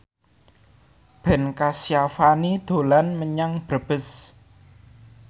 Ben Kasyafani dolan menyang Brebes